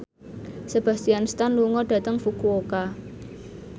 Sebastian Stan lunga dhateng Fukuoka